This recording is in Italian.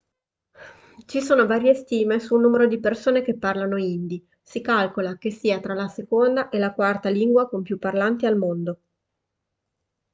ci sono varie stime del numero di persone che parlano hindi si calcola che sia tra la seconda e la quarta lingua con più parlanti al mondo